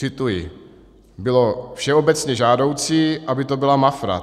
Cituji: Bylo všeobecně žádoucí, aby to byla Mafra.